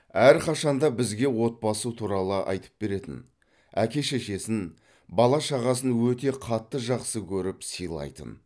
әрқашан да бізге отбасы туралы айтып беретін әке шешесін бала шағасын өте қатты жақсы көріп сыйлайтын